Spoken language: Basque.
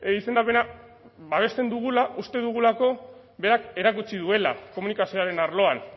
izendapena babesten dugula uste dugulako berak erakutsi duela komunikazioaren arloan